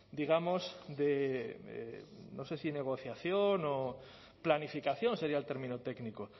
digamos de no sé si negociación o planificación sería el término técnico